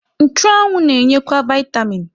Nchụanwụ na-enyekwa vaịtamin.